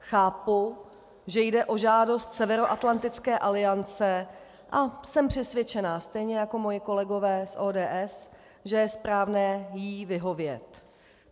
Chápu, že jde o žádost Severoatlantické aliance, a jsem přesvědčena stejně jako moji kolegové z ODS, že je správné jí vyhovět.